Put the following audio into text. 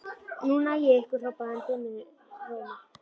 Núna næ ég ykkur hrópaði hann dimmum rómi.